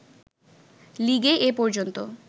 লিগে এ পর্যন্ত